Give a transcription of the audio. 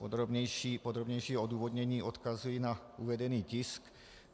Podrobnější odůvodnění odkazuji na uvedený tisk.